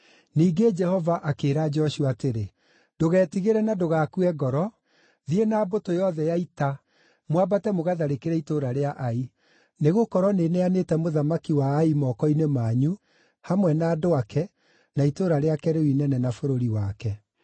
Ningĩ Jehova akĩĩra Joshua atĩrĩ, “Ndũgetigĩre na ndũgakue ngoro. Thiĩ na mbũtũ yothe ya ita, mwambate mũgatharĩkĩre itũũra rĩa Ai. Nĩgũkorwo nĩneanĩte mũthamaki wa Ai moko-inĩ manyu, hamwe na andũ ake, na itũũra rĩake rĩu inene na bũrũri wake.